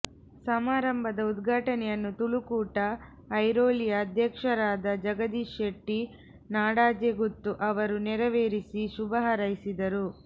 ಸಮಾರಂಭದ ಉದ್ಘಾಟನೆಯನ್ನು ತುಳು ಕೂಟ ಐರೋಲಿಯ ಅಧ್ಯಕ್ಷರಾದ ಜಗದೀಶ ಶೆಟ್ಟಿ ನಾಡಾಜೆಗುತ್ತು ಅವರು ನೆರವೇರಿಸಿ ಶುಭ ಹಾರೈಸಿದರು